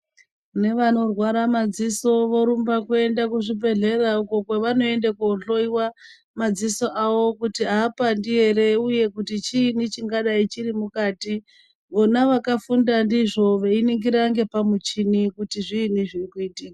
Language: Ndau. Nevanorwara madziso vorumba kuenda kuzvibhedhlera uko kwavanoenda kohloiwa madziso awo kuti aapandi ere uye kuti chiini vhingadai chiri mukati vona vakagunda ndizvo veiningira ngepamuchini kuti zviini zviri kuitika.